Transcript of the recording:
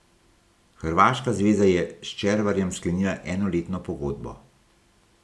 Hrvaška zveza je s Červarjem sklenila enoletno pogodbo.